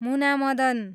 Muna Madan